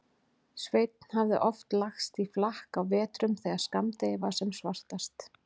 Sveinn hafði oft lagst í flakk á vetrum þegar skammdegið var sem svartast.